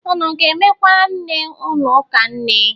Unu ga-emekwara nne ụnụ ụka nne?